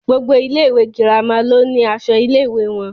Gbogbo ilé ìwé girama ló ni aṣọ ilé ìwé wọn.